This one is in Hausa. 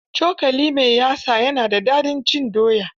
Cokali mai yatsa na da dadin cin doya.